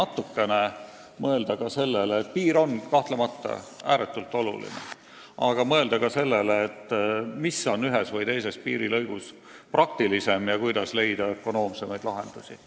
Ja kuigi riigipiir on kahtlemata ääretult oluline rajatis, võiks ehk ikkagi rohkem arvestada, mis on ühes või teises piirilõigus kõige praktilisem ja kuidas leida ökonoomsemaid lahendusi.